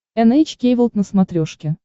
эн эйч кей волд на смотрешке